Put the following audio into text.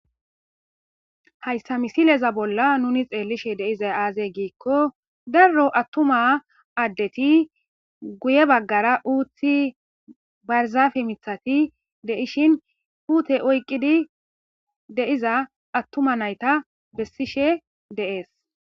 Hayssa misileza bolla nuni xeellishe deiza aazey giikko darro attuma addeti guye baggara uuthi barzafe mithati deishin huute oyqidi deiza attuma nayta bessishe deees.